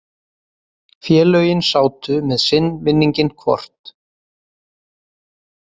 Félögin sátu með sinn vinninginn hvort.